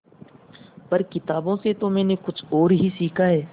पर किताबों से तो मैंने कुछ और ही सीखा है